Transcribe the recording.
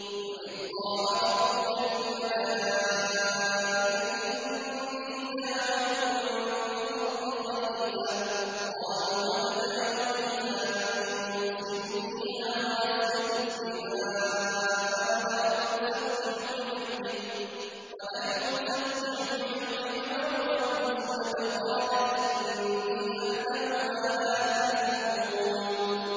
وَإِذْ قَالَ رَبُّكَ لِلْمَلَائِكَةِ إِنِّي جَاعِلٌ فِي الْأَرْضِ خَلِيفَةً ۖ قَالُوا أَتَجْعَلُ فِيهَا مَن يُفْسِدُ فِيهَا وَيَسْفِكُ الدِّمَاءَ وَنَحْنُ نُسَبِّحُ بِحَمْدِكَ وَنُقَدِّسُ لَكَ ۖ قَالَ إِنِّي أَعْلَمُ مَا لَا تَعْلَمُونَ